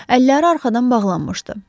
Əlləri arxadan bağlanmışdı.